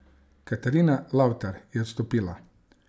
Katarina Lavtar je odstopila.